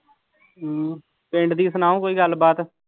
ਹਮ ਪਿੰਡ ਦੀ ਸੁਣਾਓ ਕੋਈ ਗੱਲਬਾਤ।